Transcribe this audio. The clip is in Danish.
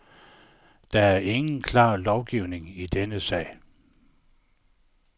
Der er ingen klar lovgivning i denne sag.